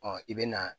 i bɛ na